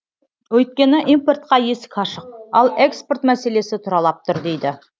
өйткені импортқа есік ашық ал экспорт мәселесі тұралап тұр дейді